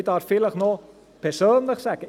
Ich darf vielleicht noch persönlich sagen: